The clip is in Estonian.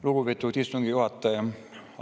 Lugupeetud istungi juhataja!